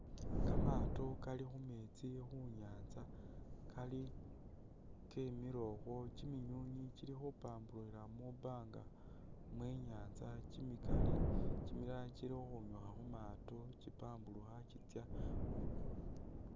Kamaato kali khu meetsi khu nyaanza kali Kemile ukhwo. Kiminywiinywi kili khupampurukhila mwibaanga mwe i'nyaanza kimikali, kimilala kili khukhwinyukha khu maato kipampurukha.